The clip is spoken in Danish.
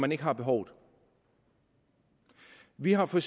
man ikke har behovet vi har for